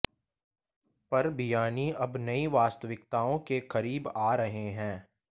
पर बियाणी अब नई वास्तविकताओं के करीब आ रहे हैं